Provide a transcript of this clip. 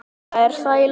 Lóa: Er það í lagi?